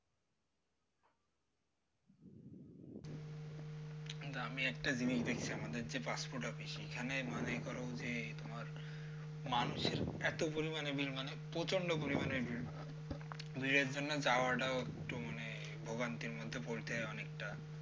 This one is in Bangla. কিন্তু আমি একটা জিনিস দেখি আমাদের যে passport office সেখানে মনে করো যে তোমার মানুষের এত পরিমাণে bill মানে প্রচন্ড পরিমাণে bill তো এর জন্য যাওয়াটাও একটু মানে ভোগান্তির মধ্যে পড়তে হয় অনেকটা